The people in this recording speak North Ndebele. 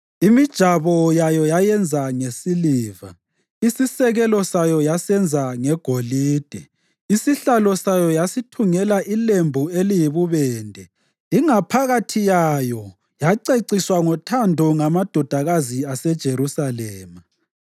Imijabo yayo yayenza ngesiliva, isisekelo sayo yasenza ngegolide. Isihlalo sayo yasithungela ilembu eliyibubende ingaphakathi yayo yaceciswa ngothando ngamadodakazi aseJerusalema.